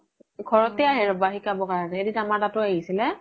ঘৰতে আহে ৰবা শিকাব কাৰনে এদিন আমাৰ তাত ও আহিছিলে